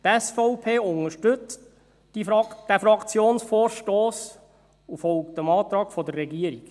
Die SVP unterstützt diesen Fraktionsvorstoss und folgt dem Antrag der Regierung.